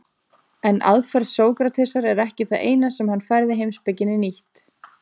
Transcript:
En aðferð Sókratesar er ekki það eina sem hann færði heimspekinni nýtt.